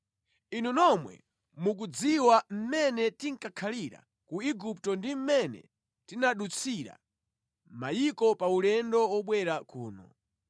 Inu nomwe mukudziwa mmene tinkakhalira ku Igupto ndi mmene tinadutsira mayiko pa ulendo wobwera kuno.